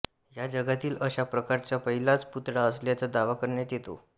हा जगातील अशा प्रकारचा पहिलाच पुतळा असल्याचा दावा करण्यात येतो